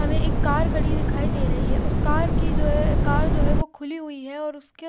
हमें एक कार खड़ी दिखाई दे रही है उस कार की जो है कार जो है वो खुली हुई है और उस--